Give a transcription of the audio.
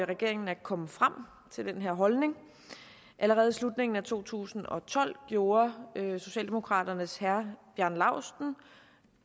regeringen at komme frem til den her holdning allerede i slutningen af to tusind og tolv gjorde socialdemokraternes herre bjarne laustsen